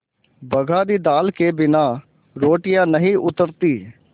बघारी दाल के बिना रोटियाँ नहीं उतरतीं